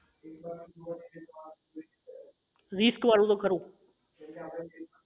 risk વાળું તો ખરું